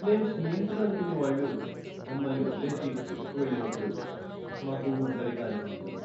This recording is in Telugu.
మేం స్నేహితులనుకునేవాళ్ళు మమ్మల్ని వదిలేసి ట్రిప్కు వెళ్ళినప్పుడు మాకు ఒంటరిగా అనిపించింది.